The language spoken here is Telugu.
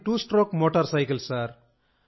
అది టూ స్ట్రోక్ మోటార్ సైకిల్